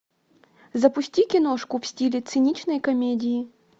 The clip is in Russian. запусти киношку в стиле циничные комедии